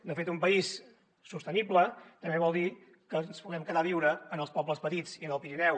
de fet un país sostenible també vol dir que ens puguem quedar a viure en els pobles petits i en el pirineu